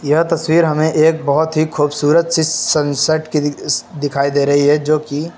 यह तस्वीर हमें एक बोहोत ही खूबसूरत चीज सनसेट की दि श्श दिखाई दे रही है जो कि --